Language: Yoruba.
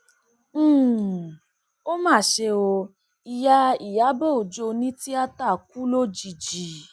um ó mà ṣe o ìyá ìyàbò ọjọ onítìata kù lójijì